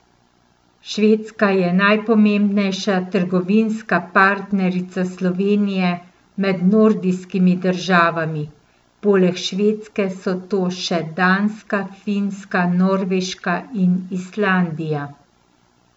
Švedska je najpomembnejša trgovinska partnerica Slovenije med nordijskimi državami, poleg Švedske so to še Danska, Finska, Norveška in Islandija.